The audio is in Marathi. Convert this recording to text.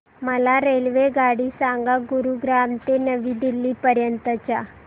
मला रेल्वेगाडी सांगा गुरुग्राम ते नवी दिल्ली पर्यंत च्या